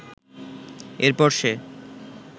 এরপর সে